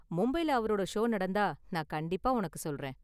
மும்பைல அவரோட ஷோ நடந்தா நான் கண்டிப்பா உனக்கு சொல்றேன்.